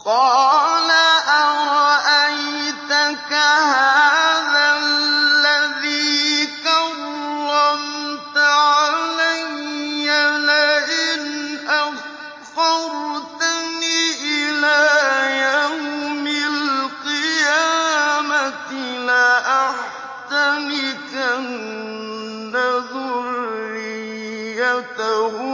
قَالَ أَرَأَيْتَكَ هَٰذَا الَّذِي كَرَّمْتَ عَلَيَّ لَئِنْ أَخَّرْتَنِ إِلَىٰ يَوْمِ الْقِيَامَةِ لَأَحْتَنِكَنَّ ذُرِّيَّتَهُ